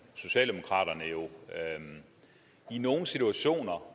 socialdemokraterne jo i nogle situationer